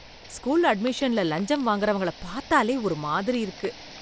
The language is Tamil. ஸ்கூல் அட்மிஷன்ல லஞ்சம் வாங்கறவங்கள பாத்தாலே ஒரு மாதிரி இருக்கு.